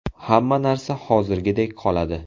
Hamma narsa hozirgidek qoladi.